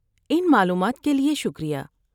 ان معلومات کے لیے شکریہ۔